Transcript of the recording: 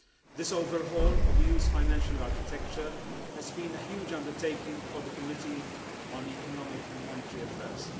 This overhaul of the EU's financial architecture has been a huge undertaking for the Committee on Economic and Monetary Affairs.